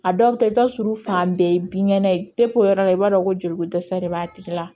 A dɔw bɛ taa i b'a sɔrɔ fan bɛɛ ye binkɛnɛ ye o yɔrɔ la i b'a dɔn ko joliko dɛsɛ de b'a tigi la